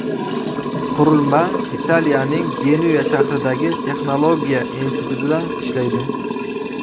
Qurilma Italiyaning Genuya shahridagi texnologiya institutida ishlaydi.